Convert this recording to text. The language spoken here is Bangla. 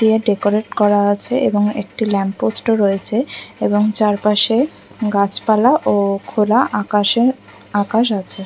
তে ডেকোরেটে করা আছে এবং একটি ল্যাম্পপোস্ট ও রয়েছে চারপাশে গাছপালা ও খোলা আকাশ ও আকাশ আছে ।